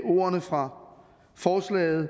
ordene fra forslaget